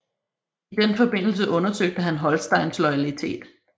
I den forbindelse undersøgte han Holsteins loyalitet